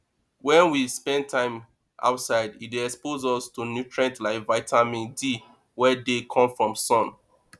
when we spend time outside e dey expose us to nutrient like vitamine d wey dey come from sun